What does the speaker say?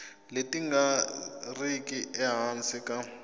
leti nga riki ehansi ka